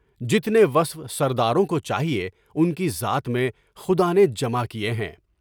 جتنے وصف سرداروں کو چاہیے ان کی ذات میں خدا نے جمع کیے ہیں۔